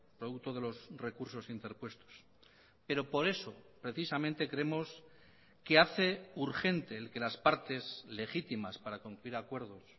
producto de los recursos interpuestos pero por eso precisamente creemos que hace urgente el que las partes legítimas para cumplir acuerdos